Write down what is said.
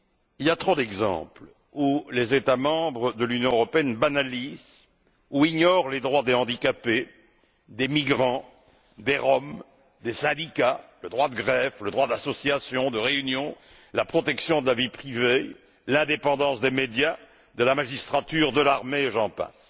Il y a trop d'exemples où les États membres de l'Union européenne banalisent ou ignorent les droits des handicapés, des migrants, des Roms, des syndicats le droit de grève, le droit d'association, de réunion, la protection de la vie privée, l'indépendance des médias, de la magistrature, de l'armée, et j'en passe.